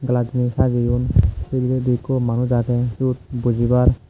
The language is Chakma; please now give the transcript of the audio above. glass dineh sajiyon seh hureh di eko manus aage suot bojibar.